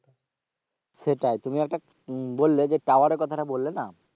সেটাই তুমি একটা বললে যে tower এর কথাটা বললে না,